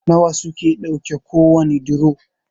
nawa suke ɗauke kowane duro?